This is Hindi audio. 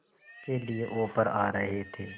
के लिए ऑफर आ रहे थे